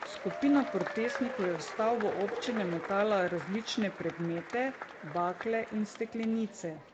Skupina protestnikov je v stavbo občine metala različne predmete, bakle in steklenice.